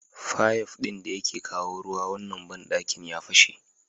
Fayif ɗin da yake kawo ruwa wannan banɗakin ya fashe.